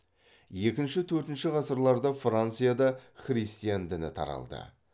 екінші төртінші ғасырларда францияда христиан діні таралды